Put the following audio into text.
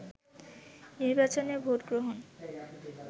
নির্বাচনের ভোটগ্রহণ